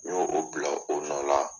N y'o o bila o nɔ la.